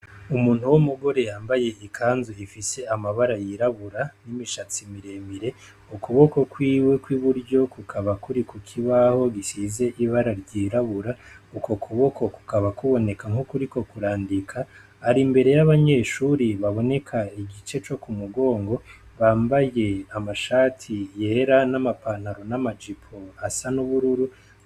Umuntu w'umugore yambaye ikanzu ifise amabara yirabura nibishatsi biremire ukuboko kwiwe kwiburyo kukaba kuri kukibaho gisize ibara ryirabura uko kuboko kukaba kuboneka nkukuriko kurandika ari imbere yabanyeshure baboneka igice co kumugonga bambaye amashati yera n'amapantaro, n'amajipo asa nubururu.